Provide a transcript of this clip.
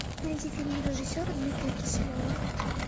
найди фильм режиссера дмитрия киселева